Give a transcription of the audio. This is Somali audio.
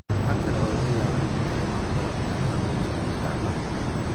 Waxa kale oo laga yaabaa inay dareemaan barar, gaar ahaan wejiga iyo gacmaha.